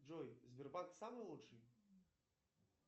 джой сбербанк самый лучший